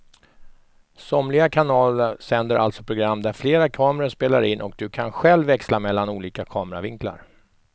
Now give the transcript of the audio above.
Somliga kanaler sänder alltså program där flera kameror spelar in och du kan själv växla mellan olika kameravinklar.